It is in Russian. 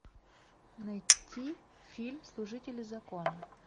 найти фильм служители закона